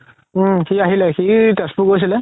উম সি আহিলে সি তেজপুৰ গৈছিলে